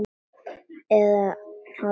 Eða hálfu ári of snemma.